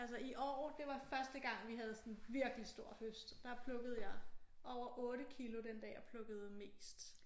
Altså i år det var første gang vi havde sådan virkelig stor høst der plukkede jeg over 8 kilo den dag jeg plukkede mest